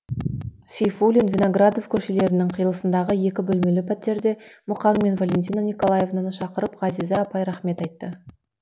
сейфуллин виноградов көшелерінің қиылысындағы екі бөлмелі пәтеріне мұқаң мен валентина николаевнаны шақырып ғазиза апай рахмет айтты